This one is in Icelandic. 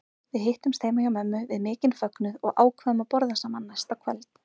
Við hittumst heima hjá mömmu við mikinn fögnuð og ákváðum að borða saman næsta kvöld.